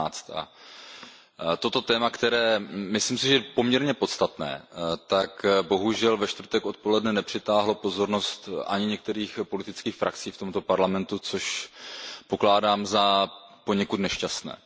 19. Toto téma je, myslím si, poměrně podstatné, bohužel však ve čtvrtek odpoledne nepřitáhlo pozornost ani některých politických frakcí v tomto Parlamentu, což pokládám za poněkud nešťastné.